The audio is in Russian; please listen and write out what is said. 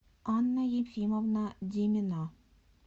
анна ефимовна демина